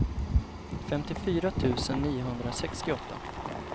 femtiofyra tusen niohundrasextioåtta